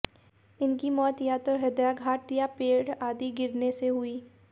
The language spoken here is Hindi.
इनकी मौत या तो हृदयाघात या पेड़ आदि गिरने से हुई